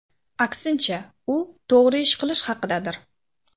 Aksincha, u to‘g‘ri ish qilish haqidadir.